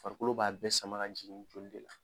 Farikolo b'a bɛɛ sama ka jigin joli de la.